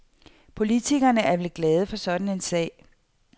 Politikerne er vel glade for sådan en sag.